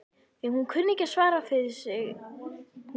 Því hún kunni enn að svara fyrir sig hún